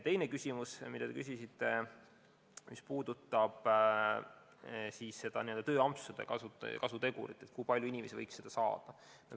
Teine küsimus puudutas n-ö tööampsude kasutegurit, kui palju inimesi võiks seda kasutada.